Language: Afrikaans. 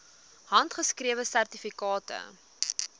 handgeskrewe sertifikate